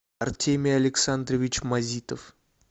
артемий александрович мазитов